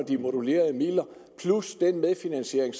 de modulerede midler plus den medfinansiering